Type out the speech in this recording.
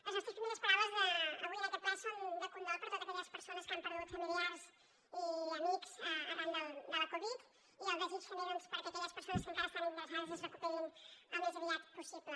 les nostres primeres paraules d’avui en aquest ple són de condol per a totes aquelles persones que han perdut familiars i amics arran de la covid i el desig també doncs perquè aquelles persones que encara estan ingressades es recuperin al més aviat possible